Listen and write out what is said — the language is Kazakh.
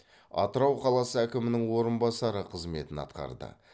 атырау қаласы әкімінің орынбасары қызметін атқарды